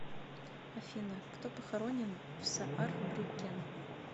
афина кто похоронен в саарбрюккен